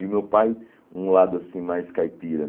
E o meu pai, um lado assim mais caipira.